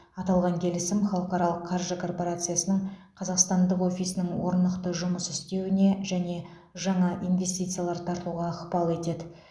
аталған келісім халықаралық қаржы корпорациясының қазақстандық офисінің орнықты жұмыс істеуіне және жаңа инвестициялар тартуға ықпал етеді